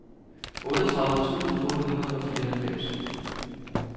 otteogtredive tusind otte hundrede og fireoghalvfems